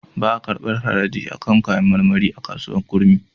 Ba a karɓar haraji a kan kayar marmari a kasuwar Kurmi.